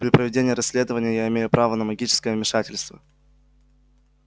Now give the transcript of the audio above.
при проведении расследования я имею право на магическое вмешательство